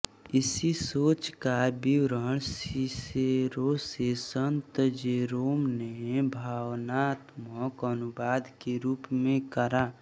इसी सोच का विवरण सिसेरो से संत जेरोम ने भावनात्मक अनुवाद के रूप में करा